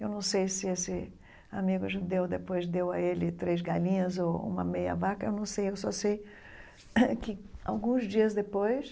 Eu não sei se esse amigo judeu depois deu a ele três galinhas ou uma meia vaca, eu não sei, eu só sei que alguns dias depois,